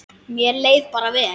Mér leið bara vel.